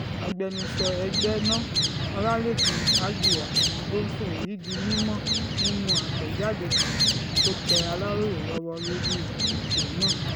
agbẹnusọ ẹgbẹ́ náà ọlálẹ́kan àjíá ló sọ èyí di mímọ́ nínú àtẹ̀jáde kan tó tẹ aláròye lọ́wọ́ lórí ètò náà